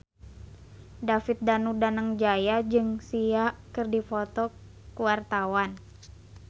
David Danu Danangjaya jeung Sia keur dipoto ku wartawan